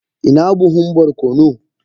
ina buhun barkono?